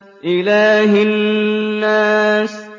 إِلَٰهِ النَّاسِ